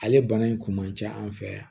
Ale bana in kun man ca an fɛ yan